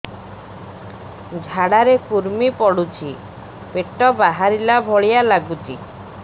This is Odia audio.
ଝାଡା ରେ କୁର୍ମି ପଡୁଛି ପେଟ ବାହାରିଲା ଭଳିଆ ଲାଗୁଚି